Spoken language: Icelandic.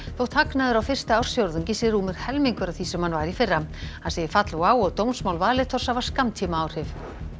þótt hagnaður á fyrsta ársfjórðungi sé rúmur helmingur af því sem hann var í fyrra hann segir fall WOW og dómsmál Valitors hafa skammtímaáhrif